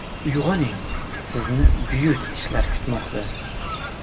Uyg‘oning sizni buyuk ishlar kutmoqda.